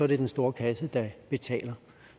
det den store kasse der betaler